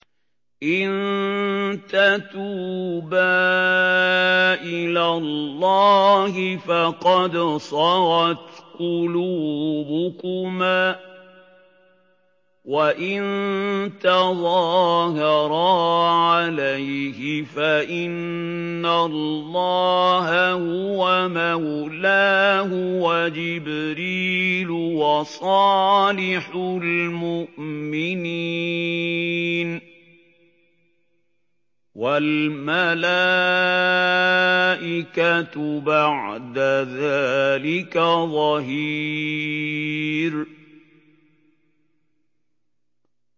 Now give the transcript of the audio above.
إِن تَتُوبَا إِلَى اللَّهِ فَقَدْ صَغَتْ قُلُوبُكُمَا ۖ وَإِن تَظَاهَرَا عَلَيْهِ فَإِنَّ اللَّهَ هُوَ مَوْلَاهُ وَجِبْرِيلُ وَصَالِحُ الْمُؤْمِنِينَ ۖ وَالْمَلَائِكَةُ بَعْدَ ذَٰلِكَ ظَهِيرٌ